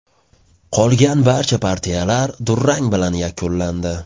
Qolgan barcha partiyalar durang bilan yakunlandi.